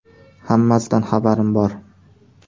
Hammasidan xabarim bor.